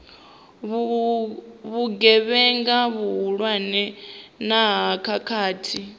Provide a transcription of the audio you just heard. vhugevhenga vhuhulwane na ha khakhathi